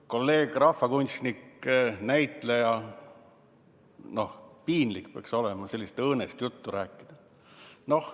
Kolleeg on rahvakunstnik, näitleja – noh, piinlik peaks olema sellist õõnest juttu rääkida.